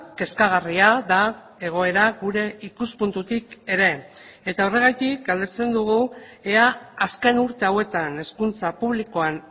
kezkagarria da egoera gure ikuspuntutik ere eta horregatik galdetzen dugu ea azken urte hauetan hezkuntza publikoan